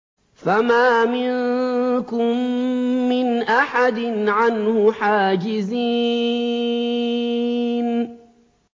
فَمَا مِنكُم مِّنْ أَحَدٍ عَنْهُ حَاجِزِينَ